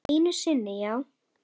Einu sinni já.